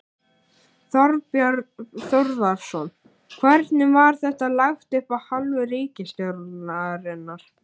Þorbjörn Þórðarson: Hvernig var þetta lagt upp af hálfu ríkisstjórnarinnar?